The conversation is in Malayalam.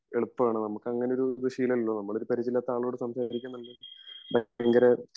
എളുപ്പാണ്